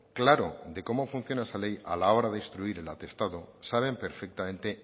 claro de cómo funciona esa ley a la hora de instruir el atestado saben perfectamente